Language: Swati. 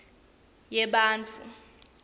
yebantfu